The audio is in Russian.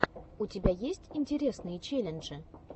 у тебя есть интересные челленджи